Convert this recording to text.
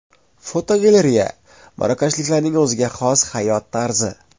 Fotogalereya: Marokashliklarning o‘ziga xos hayot tarzi.